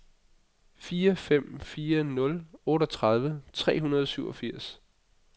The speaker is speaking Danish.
fire fem fire nul otteogtredive tre hundrede og syvogfirs